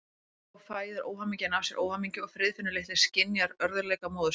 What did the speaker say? Svo fæðir óhamingjan af sér óhamingju og Friðfinnur litli skynjar örðugleika móður sinnar.